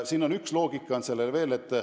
Üks loogika on reformil veel.